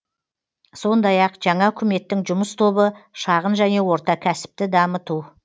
сондай ақ жаңа үкіметтің жұмыс тобы шағын және орта кәсіпті дамыту